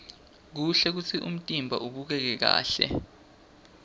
kuhle kutsi umtimba ubukeke kahle